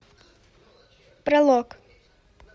пролог